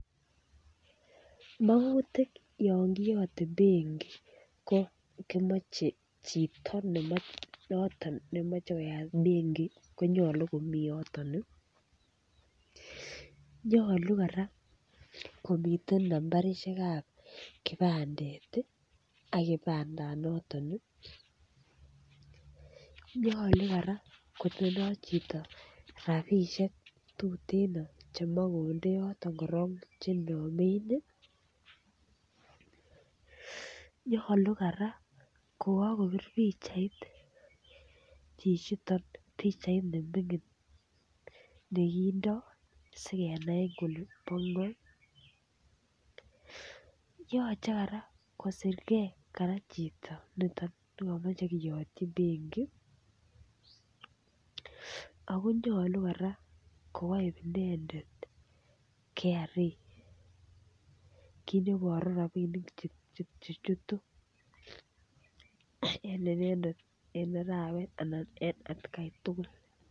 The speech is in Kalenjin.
Magutik chekimochen yon kiyote benki ko kimoche chito ne noton nemache koyaat Benki konyolu komii yoton. Nyolu koran komitei nambarishekab kipandet akipandanoton. Nyolu kora kotindoi chito rapiishek tuteen chemakondeyoto korook chenyoomen. Nyolu kora kokakopir pichait chichitok pichait neming'in nekindoi sikenai kele pong'o. Kararan kosirkei kora chichiton nekamache keyotyin Banki akonyoli koyai inendet KRA. kiit neboru rabiinik chechutu en inendet en arawet anan ko eng atkaan tukul.